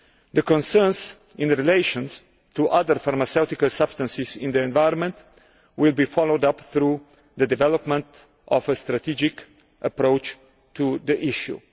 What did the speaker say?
The concerns in relation to other pharmaceutical substances in the environment will be followed up by developing a strategic approach to the issue.